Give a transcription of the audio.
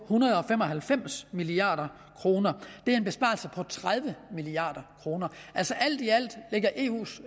hundrede og fem og halvfems milliard kroner det er en besparelse på tredive milliard kroner alt i alt lægger eus